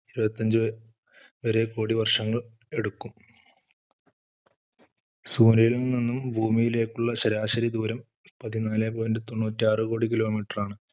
ഇരുപത്തഞ്ച് വരെ കോടി വർഷങ്ങൾ എടുക്കും. സൂര്യനിൽ നിന്നും ഭൂമിയിലേക്ക് ഉള്ള ശരാശരി ദൂരം പതിനാലെ point തൊണ്ണൂറ്റാറു കോടി kilo metre ആണ്.